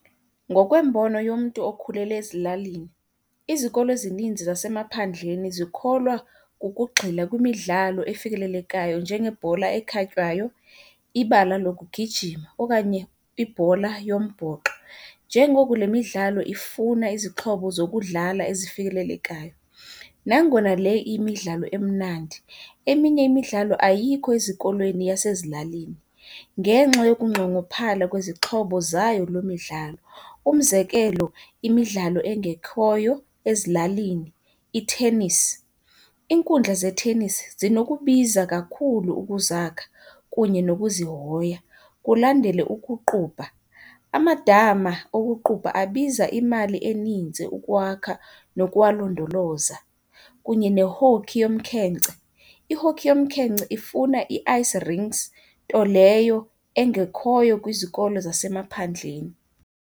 Ngokwembono yomntu okhulele ezilalini, izikolo ezininzi zasemaphandleni zikholwa kukugxila kwimidlalo efikelelekayo njengebhola ekhatywayo, ibala lokugijima okanye ibhola yombhoxo njengoko le midlalo ifuna izixhobo zokudlala ezifikelelekayo. Nangona le iyimidlalo emnandi, eminye imidlalo ayikho ezikolweni yasezilalini ngenxa yokunqongophala kwezixhobo zayo loo midlalo. Umzekelo, imidlalo engekhoyo ezilalini i-tennis. Iinkundla ze-tennis zinokubiza kakhulu ukuzakha kunye nokuzihoya. Kulandele ukuqubha. Amadama okuqubha abiza imali eninzi ukuwakha nokuwalondoloza. Kunye ne-hockey yomkhenkce. I-hockey yomkhenkce ifuna ii-ice rings, nto leyo engekhoyo kwizikolo zasemaphandleni.